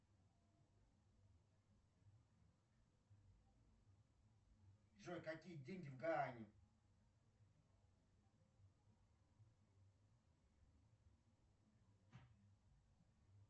джой какие деньги в гаване